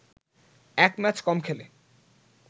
এক ম্যাচ কম খেলে